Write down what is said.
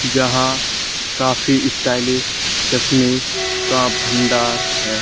जहां काफी स्टाइलिश चश्मे का भंडार है।